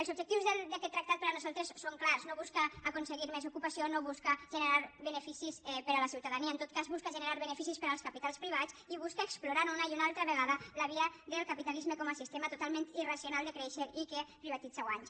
els objectius d’aquest tractat per nosaltres són clars no busca aconseguir més ocupació no busca generar beneficis per a la ciutadania en tot cas busca generar beneficis per als capitals privats i busca explorar una i una altra vegada la via del capitalisme com a sistema totalment irracional de créixer i que privatitza guanys